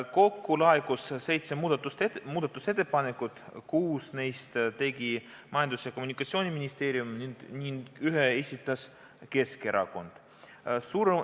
Kokku laekus seitse muudatusettepanekut, kuus neist tegi Majandus- ja Kommunikatsiooniministeerium ning ühe esitas Keskerakond.